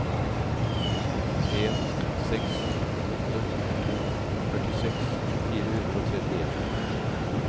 en seks åtte to førtiseks fire hundre og trettien